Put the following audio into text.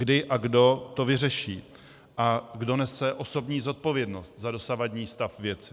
Kdy a kdo to vyřeší a kdo nese osobní zodpovědnost za dosavadní stav věci?